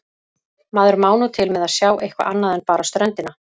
Maður má nú til með að sjá eitthvað annað en bara ströndina.